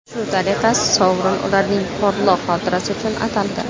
Shu tariqa sovrin ularning porloq xotirasi uchun ataldi.